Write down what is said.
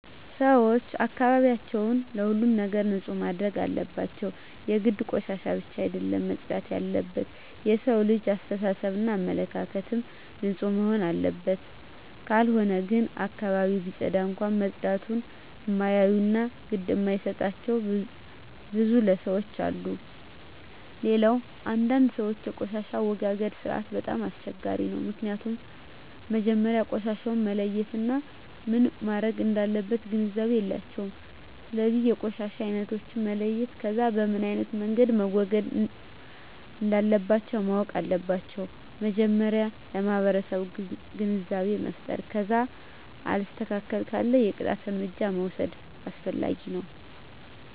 ሰወች አካባቢያቸውን ከሁሉም ነገር ንፁህ ማድረግ አለባቸው የግድ ቆሻሻ ብቻ አደለም መፅዳት የለበት የሠው ልጅ አሰተሳሰብ እና አመለካከትም ንፁህ መሆንና አለበት ካልሆነ ግን አካባቢውን ቢፀዳም እንኳ መፀዳቱን እማያዮ እና ግድ እማይጣቸው ብዙ ለሠዎች አሉ። ሌላው አንዳንድ ሰወች የቆሻሻ አወጋገድ ስርዓቱ በጣም አስቸጋሪ ነው ምክኒያቱም መጀመሪያ ቆሻሻውን መለየት እና ምን መረግ እንዳለበት ግንዛቤ የላቸውም ስለዚ የቆሻሻ አይነቶችን መለየት ከዛ በምኖ አይነት መንገድ መወገድ እንለባቸው ማወቅ አለባቸው መጀመሪያ ለማህበረሰቡ ግንዛቤ መፍጠር ከዛ አልስተካክል ካለ የቅጣት እርምጃ መውስድ አስፈላጊ ነው